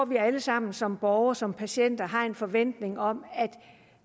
vi alle sammen som borgere som patienter har en forventning om at